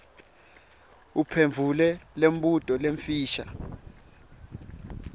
uphendvule imibuto lemifisha